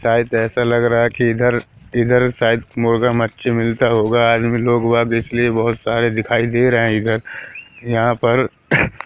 शायद ऐसा लग रहा है कि इधर इधर शायद मुर्गा मच्छी मिलता होगा आदमी लोग वाद इसलिए बहोत सारे दिखाई दे रहे हैं इधर यहां पर--